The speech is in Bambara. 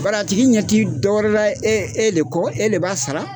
Bar'a tigi ɲɛti dɔ wɛrɛ la e e le kɔ, e le b'a sara.